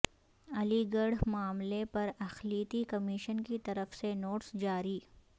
علی گڑھ معاملے پر اقلیتی کمیشن کی طرف سے نوٹس جاری